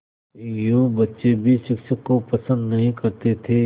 यूँ बच्चे भी शिक्षक को पसंद नहीं करते थे